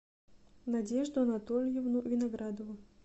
надежду анатольевну виноградову